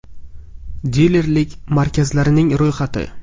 Dilerlik markazlarining ro‘yxati: .